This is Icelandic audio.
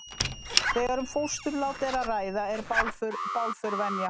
þegar um fósturlát er að ræða er bálför venja